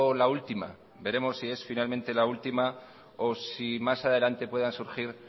la última veremos si es finalmente la última o si más adelante puedan surgir